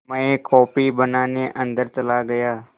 मैं कॉफ़ी बनाने अन्दर चला गया